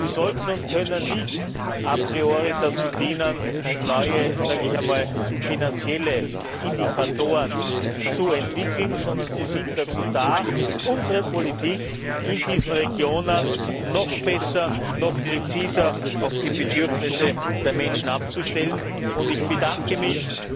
Sie sollten und können nicht a priori dazu dienen, neue finanzielle Indikatoren zu entwickeln, sondern sie sind dazu da, unsere Politik in diesen Regionen noch besser, noch präziser auf die Bedürfnisse der Menschen abzustellen. Ich bedanke mich